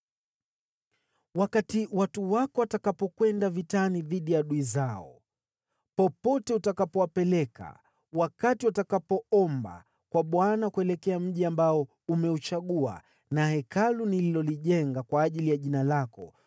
“Wakati watu wako watakapokwenda vitani dhidi ya adui zao, popote utakapowapeleka, wakati watakapoomba kwa Bwana kuelekea mji ambao umeuchagua, na Hekalu nililolijenga kwa ajili ya Jina lako,